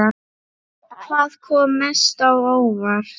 Hvað kom mest á óvart?